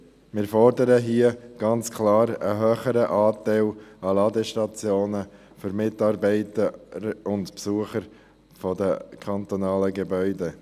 Wir fordern ganz klar einen höheren Anteil an Ladestationen für Mitarbeiter und Besucher der kantonalen Gebäude.